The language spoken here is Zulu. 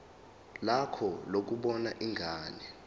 lakho lokubona ingane